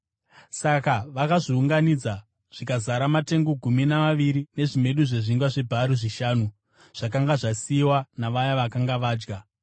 Saka vakazviunganidza zvikazara matengu gumi namaviri nezvimedu zvezvingwa zvebhari zvishanu, zvakanga zvasiyiwa navaya vakanga vadya.